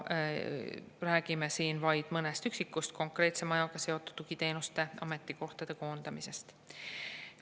Räägime siin vaid mõnest üksikust konkreetse majaga seotud tugiteenuste ametikohtade koondamisest.